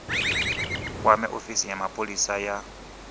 kwame ofisi ya mapholisa ya